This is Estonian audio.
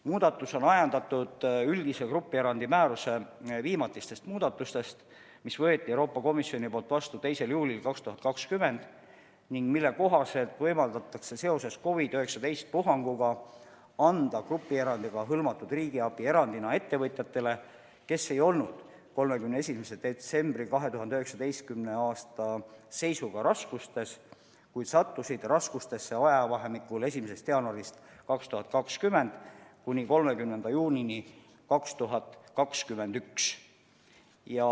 Muudatus on ajendatud üldise grupierandi määruse viimatistest muudatustest, mis võeti Euroopa Komisjonis vastu 2. juulil 2020 ning mille kohaselt võimaldatakse seoses COVID-19 puhanguga anda grupierandiga hõlmatud riigiabi ettevõtjatele, kes ei olnud 31. detsembri 2019. aasta seisuga raskustes, kuid sattusid raskustesse ajavahemikul 1. jaanuarist 2020 kuni 30. juunini 2021.